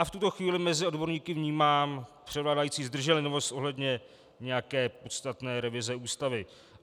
A v tuto chvíli mezi odborníky vnímám převládající zdrženlivost ohledně nějaké podstatné revize Ústavy.